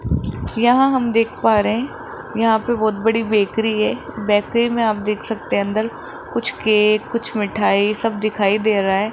यहां हम देख पा रहे हैं यहां पे बहुत बड़ी बेकरी है बेकरी में आप देख सकते हैं अंदर कुछ केक कुछ मिठाई सब कुछ दिखाई दे रहा है।